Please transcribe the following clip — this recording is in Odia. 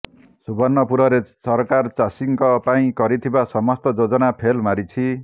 ସୁବର୍ଣ୍ଣପୁରରେ ସରକାର ଚାଷୀଙ୍କ ପାଇଁ କରିଥିବା ସମସ୍ତ ଯୋଜନା ଫେଲ୍ ମାରିଛି